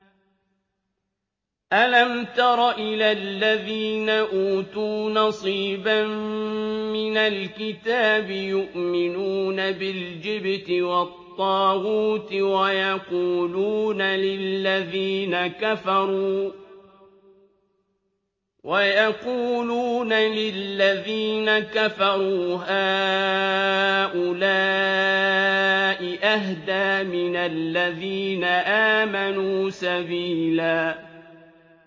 أَلَمْ تَرَ إِلَى الَّذِينَ أُوتُوا نَصِيبًا مِّنَ الْكِتَابِ يُؤْمِنُونَ بِالْجِبْتِ وَالطَّاغُوتِ وَيَقُولُونَ لِلَّذِينَ كَفَرُوا هَٰؤُلَاءِ أَهْدَىٰ مِنَ الَّذِينَ آمَنُوا سَبِيلًا